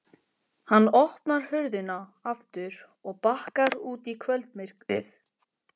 Hann opnar hurðina aftur og bakkar út í kvöldmyrkrið.